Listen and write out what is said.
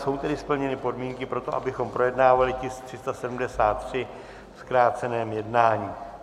Jsou tedy splněny podmínky pro to, abychom projednávali tisk 373 v zkráceném jednání.